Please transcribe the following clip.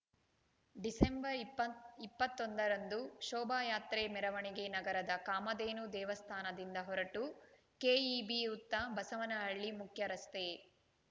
December ಇಪ್ಪತ್ತ್ ಇಪ್ಪತ್ತೊಂದರಂದು ಶೋಭಾಯಾತ್ರೆ ಮೆರವಣಿಗೆ ನಗರದ ಕಾಮಧೇನು ದೇವಸ್ಥಾನದಿಂದ ಹೊರಟು ಕೆಇಬಿ ವೃತ್ತ ಬಸವನಹಳ್ಳಿ ಮುಖ್ಯರಸ್ತೆ